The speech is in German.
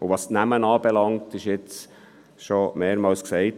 Was die Namen anbelangt – es wurde jetzt schon mehrmals gesagt: